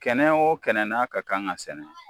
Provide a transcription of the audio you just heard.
Kɛnɛ o kɛnɛ n'a ka kan ka sɛnɛ